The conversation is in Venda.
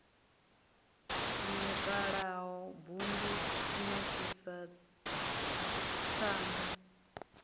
nukalaho bud u kunakisa ṱhanga